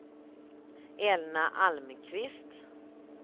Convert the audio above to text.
Elna Almqvist